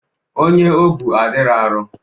Onye o bu adirọ arọ.